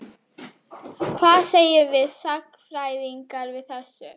Hvað segjum við sagnfræðingar við þessu?